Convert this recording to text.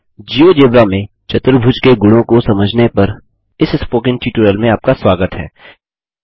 GeoGebra में चतुर्भुजक्वाड्रीलैटरल्स के गुणों को समझने पर इस स्पोकन ट्यूटोरियल में आपका स्वागत है